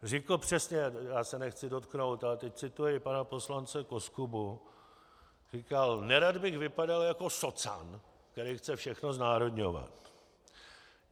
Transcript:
Řekl přesně, já se nechci dotknout, ale teď cituji pana poslance Koskubu, říkal: "Nerad bych vypadal jako socan, který chce všechno znárodňovat."